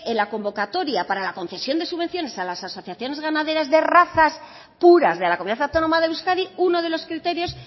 la convocatoria para la concesión de subvenciones a las asociaciones ganaderas de razas puras de la comunidad autónoma de euskadi uno de los criterios